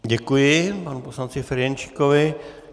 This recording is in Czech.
Děkuji panu poslanci Ferjenčíkovi.